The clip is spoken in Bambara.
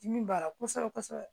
Dimi b'a la kosɛbɛ kosɛbɛ